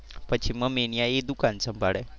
પછી મમ્મી ત્યાં એ દુકાન સંભાળે.